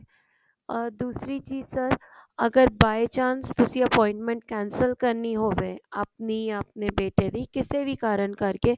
ਅਹ ਦੂਸਰੀ ਚੀਜ਼ sir ਅਗਰ by chance ਤੁਸੀਂ appointment cancel ਕਰਨੀ ਹੋਵੇ ਆਪਣੀ ਆਪਣੀ ਬੇਟੇ ਡ ਕਿਸੇ ਵੀ ਕਾਰਣ ਕਰਕੇ